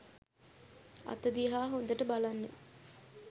අත දිහා හොඳට බලන්න.